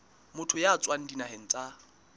motho ya tswang dinaheng tsa